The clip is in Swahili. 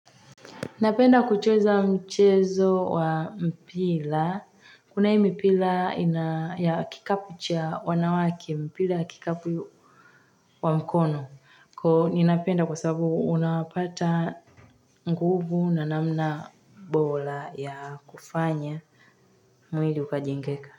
Napenda kucheza, mchezo wa mpira. Kuna hii mpira ya kikapu cha wanawake mpira ya kikapu, wa mkono. Kwa hiyo ninapenda kwa sababu unapata, nguvu na namna, bora ya kufanya mwili ukajengeka.